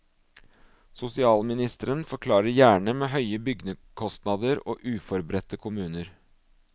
Sosialministeren forklarer gjerne med høye byggekostnader og uforberedte kommuner.